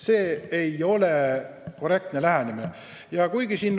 See ei ole arukas lähenemine.